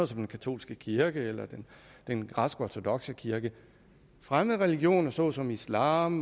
som den katolske kirke eller den græsk ortodokse kirke fremmede religioner såsom islam